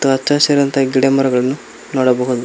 ಮತ್ತ ಹಸಿರಂತ ಗಿಡ ಮರಗಳನ್ನು ನೋಡಬಹುದು.